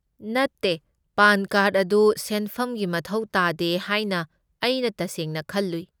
ꯅꯠꯇꯦ, PAN card ꯑꯗꯨ ꯁꯦꯟꯐꯝꯒꯤ ꯃꯊꯧ ꯇꯥꯗꯦ ꯍꯥꯏꯅ ꯑꯩꯅ ꯇꯁꯦꯡꯅ ꯈꯜꯂꯨꯏ꯫